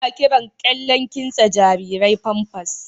Ana kiran kyallen kimtsa jarirai Pampers.